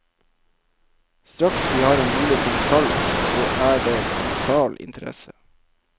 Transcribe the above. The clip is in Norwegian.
Straks vi har en bolig til salgs, så er det kolossal interesse.